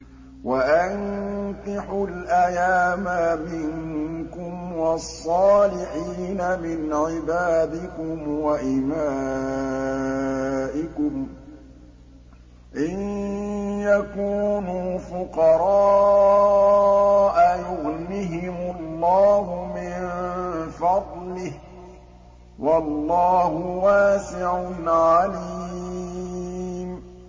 وَأَنكِحُوا الْأَيَامَىٰ مِنكُمْ وَالصَّالِحِينَ مِنْ عِبَادِكُمْ وَإِمَائِكُمْ ۚ إِن يَكُونُوا فُقَرَاءَ يُغْنِهِمُ اللَّهُ مِن فَضْلِهِ ۗ وَاللَّهُ وَاسِعٌ عَلِيمٌ